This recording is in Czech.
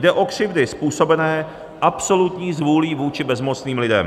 Jde o křivdy způsobené absolutní zvůlí vůči bezmocným lidem.